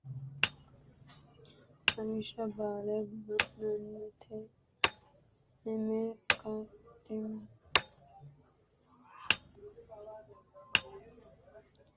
Lawishsha Bale ba’nannite Heme qachinketi Umbay ka’nannite Barrunni agurre Hashshuy ba’nannite He’mihu shotona Hanni waajji heme Hemenna qonxolu Badhete hosanno Tenne kiirote gufo giddo xuruurroonniri kaimunna jeefote aanchitooti.